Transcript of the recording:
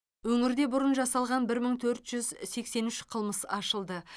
өңірде бұрын жасалған бір мың төрт жүз сексен үш қылмыс ашылды